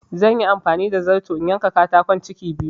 Zanyi amfani da zarto na yanka katakon ciki biyu